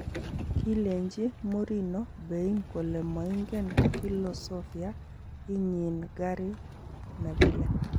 Kileenji Mourinho Bein kole moingen filosofia inyiin Gary Neville.